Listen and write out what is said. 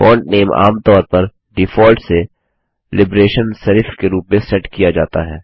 font name आमतौर पर default से लिबरेशन सेरिफ के रूप में सेट किया जाता है